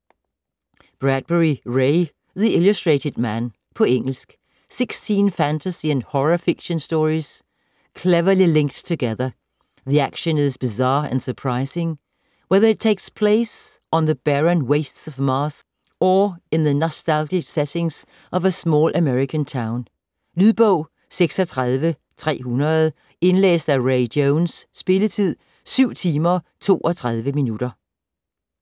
Bradbury, Ray: The illustrated man På engelsk. 16 fantasy and horror fiction stories, cleverly linked together. The action is bizarre and surprising - whether it takes place on the barren wastes of Mars or in the nostalgic setting of a small American town. Lydbog 36300 Indlæst af Ray Jones Spilletid: 7 timer, 32 minutter.